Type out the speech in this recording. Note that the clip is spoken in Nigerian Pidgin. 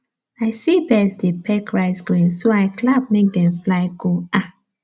i see birds dey peck rice grains so i clap make dem fly go um